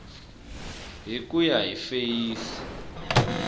hi ku ya hi feyisi